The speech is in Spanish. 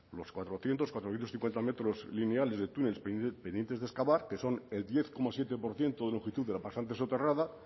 los cuatrocientos cuatrocientos cincuenta metros lineales de túnel pendiente de excavar que son el diez coma siete por ciento de la pasante soterrada